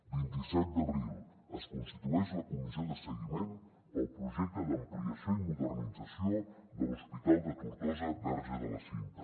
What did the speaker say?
vint i set d’abril es constitueix la comissió de seguiment pel projecte d’ampliació i modernització de l’hospital de tortosa verge de la cinta